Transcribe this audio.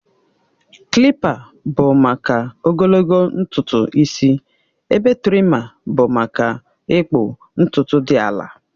Kilipa bụ maka ogologo ntutu isi ebe trima bụ maka ịkpụ ntutu dị ala